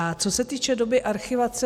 A co se týče doby archivace.